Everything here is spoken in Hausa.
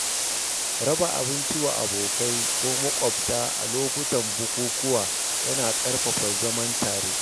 Raba abinci wa abokai ko makwabta a lokutan bukukuwa yana ƙarfafa zaman tare.